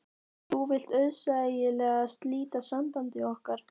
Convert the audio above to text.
Þú vilt auðsæilega slíta sambandi okkar.